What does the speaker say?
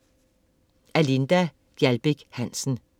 Af Linda Gjaldbæk Hansen